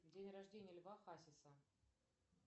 день рождения льва хасиса